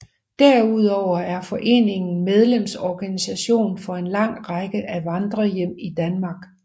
Derudover er foreningen medlemsorganisation for en lang række af vandrerhjem i Danmark